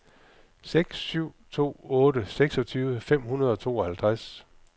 seks syv to otte seksogtyve fem hundrede og tooghalvtreds